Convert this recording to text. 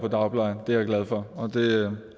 i dagplejen det er jeg glad for og